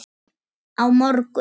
Á morgun?